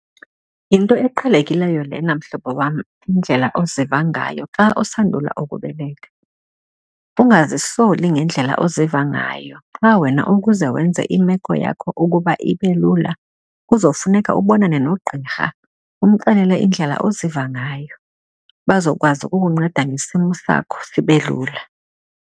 Yinto eqhelekileyo lena, mhlobo wam, indlela oziva ngayo xa usandula ukubeleka. Angazisoli ngendlela oziva ngayo, qha wena ukuze wenze imeko yakho ukuba ibe lula, kuzofuneka ukubonane nogqirha, umxelele indlela oziva ngayo, Bazokwazi ukukunceda ngesimo sakho sibe lula.